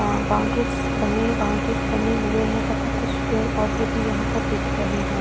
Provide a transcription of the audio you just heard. Boundaries बनी हुई है बाउंड्रीज बनी हुए है तथा कुछ पेड़-पौधे भी यहाँ पर दिख रहे है।